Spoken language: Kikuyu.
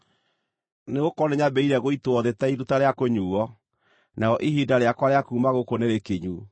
Nĩgũkorwo nĩnyambĩrĩirie gũitwo thĩ ta iruta rĩa kũnyuuo, narĩo ihinda rĩakwa rĩa kuuma gũkũ nĩrĩkinyu.